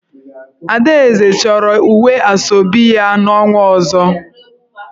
Adaeze choro uwe Asoebi ya n'onwa ozo.